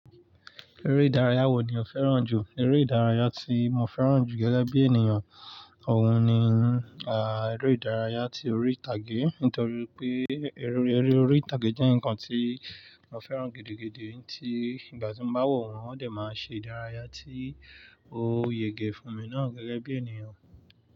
Eré ìdárayá wo ni o fẹ́ràn jù? Eré ìdárayá tí mo fẹ́ràn jù gẹ́gẹ́ bí ènìyàn, òun ni, ah, eré ìdárayá tí orí ìtàgé. Nítorí pé eré orí ìtàgé jẹ́ nǹkan tí mo fẹ́ràn gidi gidi, tí ìgbà tí mo bá wọ̀ wọ́n ó dẹ̀ máa n ṣe ìdárayá tí ó yege fún mi náà gẹ́gẹ́ bí ènìyàn.